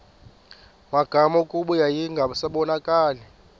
magama kuba yayingasabonakali